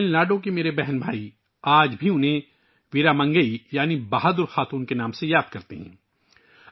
تمل ناڈو کے میرے بھائی اور بہنیں اسے آج بھی ویرا منگئی یعنی بہادر خاتون کے نام سے یاد کرتے ہیں